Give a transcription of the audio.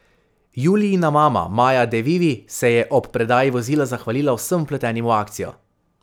Julijina mama Maja De Vivi, se je ob predaji vozila zahvalila vsem vpletenim v akcijo.